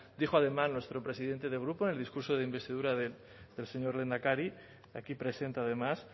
dijo además nuestro presidente de grupo en el discurso de investidura del señor lehendakari aquí presente además